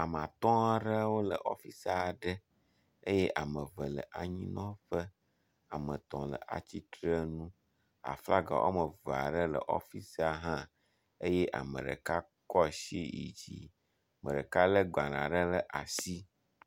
Ame atɔ aɖewo le ɔfisi aɖe eye ame ve le anyinɔƒe. Ame etɔ̃ le atsitrenu. Aflaga wɔme eve aɖe le ɔfisia hã eye ame ɖeka kɔ asi yid zi. Ame ɖeka le gbale aɖe ɖe asi.